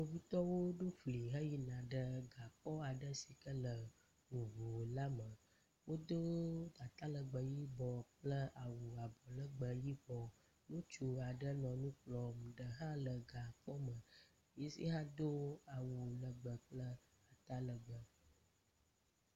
Kpovitɔwo ɖo fli heyina ɖe gakpɔ aɖe si ke le ŋuŋula me. Wodo atalegbe yibɔ kple awu abɔlegbe yibɔ. Ŋutsu aɖe le nu kplɔm eɖe hã gakpɔ la me yi hã do awu legbe kple atalegbe.